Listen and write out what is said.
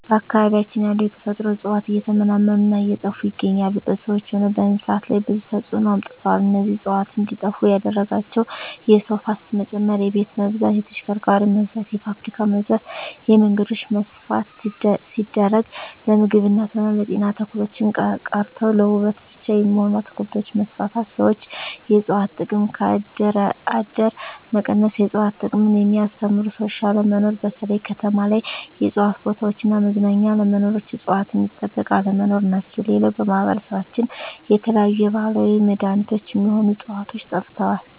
በአካባቢያችን ያሉ የተፈጥሮ እጽዋት እየተመናመኑ እና እየጠፋ ይገኛሉ በሰዎች ሆነ በእንስሳት ላይ ብዙ ተጽዕኖ አምጥተዋል እነዚህ እጽዋት እንዴጠፋ ያደረጋቸው የሰው ፋሰት መጨመር የቤት መብዛት የተሽከርካሪ መብዛት የፋብሪካ መብዛት የመንገዶች መስፍን ሲደረግ ለምግብነት ሆነ ለጤና ተክሎች ቀርተው ለዉበት ብቻ የሚሆኑ አትክልቶች መስፋፋት ሠዎች የእጽዋት ጥቅም ከአደር አደር መቀነስ የእጽዋት ጥቅምን የሚያስተምሩ ሰዎች አለመኖር በተለይ ከተማ ላይ የእጽዋት ቦታዎች እና መዝናኛ አለመኖር እጽዋት ሚጠበቅ አለመኖር ናቸው ሌላው በማህበረሰባችን የተለያዩ የባህላዊ መዳኔቾች ሚሆኑ ህጽዋቾች ጠፍተዋል